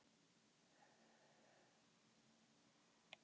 Það er nú meira hvað hann er allt í einu merkilegur.